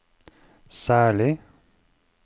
særlig